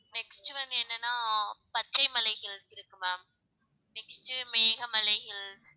next வந்து என்னனா Pachaimalai hills இருக்கு ma'am next மேகமலை hills